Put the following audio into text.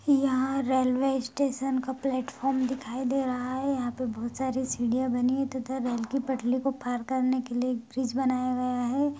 यहाँ railway station का platform दिखाई दे रहा है यहाँ पे बहोत सारी सीढ़ियां बनी हैं तथा रेल की पटली को पार करने के लिए एक ब्रिज बनाया गया है।